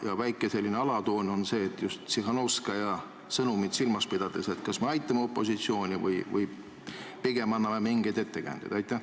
Ja küsimuse väike alatoon on see – just Tsihhanovskaja sõnumit silmas pidades –, et kas me aitame opositsiooni või pigem anname mingeid ettekäändeid?